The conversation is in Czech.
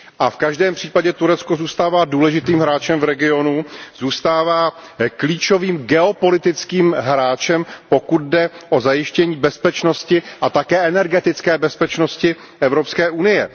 V každém případě Turecko zůstává důležitým hráčem v regionu, zůstává klíčovým geopolitickým hráčem, pokud jde o zajištění bezpečnosti a také energetické bezpečnosti Evropské unie.